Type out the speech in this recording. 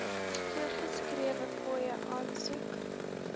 voorgeskrewe fooie aansoek